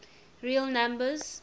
real numbers